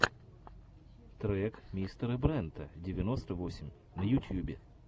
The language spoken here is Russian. трек мистера брента девяносто восемь на ютьюбе